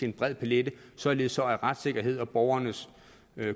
en bred palet således at retssikkerheden og borgernes